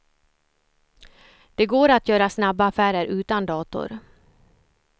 Det går att göra snabba affärer utan dator.